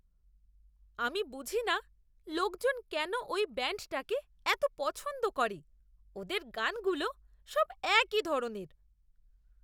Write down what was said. আমি বুঝিনা লোকজন কেন ওই ব্যান্ডটাকে এতো পছন্দ করে। ওদের গানগুলো সব একই ধরনের।